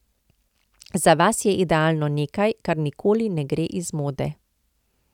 Za vas je idealno nekaj, kar nikoli ne gre iz mode.